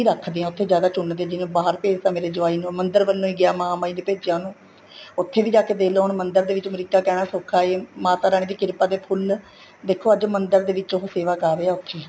ਰੱਖਦੇ ਹੈ ਜਿਆਦਾ ਚੁਣ ਕੇ ਜਿਵੇਂ ਬਹਾਰ ਭੇਜਦਾ ਮੇਰੇ ਜਵਾਈ ਨੂੰ ਮੰਦਰ ਵਲੋਂ ਹੀ ਗਿਆ ਮਹਾਮਾਹੀ ਨੇ ਹੀ ਭੇਜਿਆ ਉਹਨੂੰ ਉਥੇ ਵੀ ਜਾਕੇ ਦੇਖਲੋ ਮੰਦਰ ਦੇ ਵਿੱਚ ਅਮਰੀਕਾ ਕਹਿਣਾ ਸੋਖਾ ਏ ਮਾਤਾ ਰਾਣੀ ਦੀ ਕਿਰਪਾ ਤੇ full ਦੇਖੋ ਉਹ ਅੱਜ ਮੰਦਰ ਦੇ ਸੇਵਾ ਕਰ ਰਿਹਾ ਉੱਚੀ